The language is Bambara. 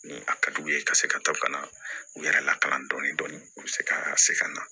Ni a ka d'u ye ka se ka to ka na u yɛrɛ lakana dɔɔnin u bɛ se ka se ka na